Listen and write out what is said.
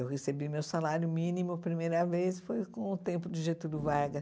Eu recebi meu salário mínimo a primeira vez, foi com o tempo de Getúlio Vargas.